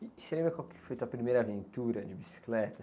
E você lembra qual foi tua primeira aventura de bicicleta?